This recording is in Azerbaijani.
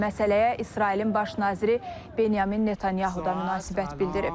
Məsələyə İsrailin baş naziri Benyamin Netanyahu da münasibət bildirib.